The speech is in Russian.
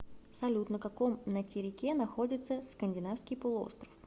салют на каком натерике находится скандинавский полуостров